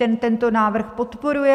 Ten tento návrh podporuje.